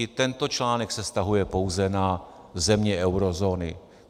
I tento článek se vztahuje pouze na země eurozóny.